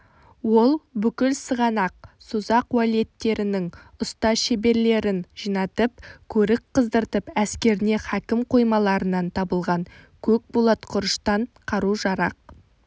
ол бүкіл сығанақ созақ уәлиеттерінің ұста шеберлерін жинатып көрік қыздыртып әскеріне хакім қоймаларынан табылған көк болат құрыштан қару-жарақ